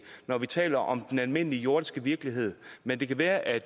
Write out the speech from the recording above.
når vi taler om den almindelige jordiske virkelighed men det kan være at